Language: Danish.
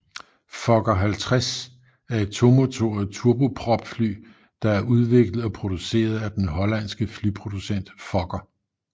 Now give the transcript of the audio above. Fokker 50 er et tomotoret turbopropfly der er udviklet og produceret af den hollandske flyproducent Fokker